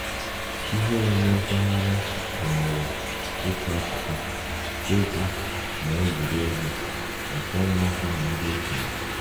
Ihe omume mpaghara gụnyere ịkọ akụkọ, egwu, na egwuregwu maka ụmụaka na ndị okenye